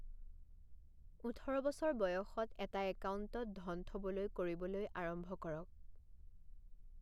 ওঠৰ বছৰ বয়সত এটা একাউণ্টত ধন থ'বলৈ কৰিবলৈ আৰম্ভ কৰক।